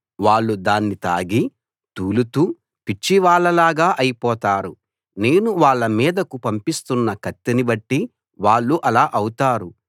వాళ్ళు దాన్ని తాగి తూలుతూ పిచ్చివాళ్ళలాగా అయిపోతారు నేను వాళ్ళ మీదకు పంపిస్తున్న కత్తిని బట్టి వాళ్ళు అలా అవుతారు